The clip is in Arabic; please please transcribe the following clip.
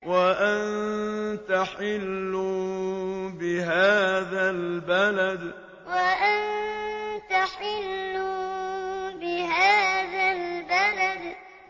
وَأَنتَ حِلٌّ بِهَٰذَا الْبَلَدِ وَأَنتَ حِلٌّ بِهَٰذَا الْبَلَدِ